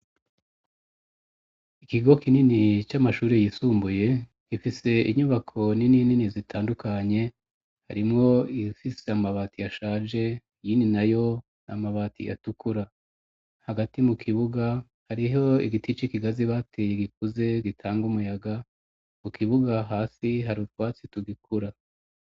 Ikigo kinini c'amashuri yisumbuye gifise inyubako ni ninini zitandukanye harimwo igifise amabati yashaje yini na yo namabati yatukura hagati mu kibuga hariho igiti c'ikigazi bateye igikuze gitanga umuyaga ku kibuga hasi hari utwatsi tugikura.